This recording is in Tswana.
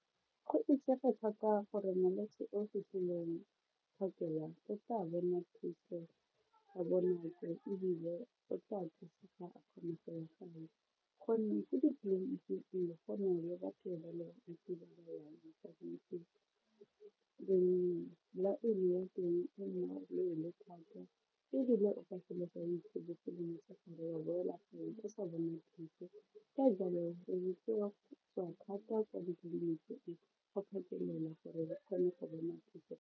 Go itsege thata gore molwetse o fitlhileng phakela o ka tsa bona thuso ka bonako ebile o thusiwa gonne ko ditleliniking go na le batho wa boela fa o sa bona thuso ka jalo re rutiwa go tswa thata kwa ditleliniking, go phakelela gore ba kgone go bona thuso.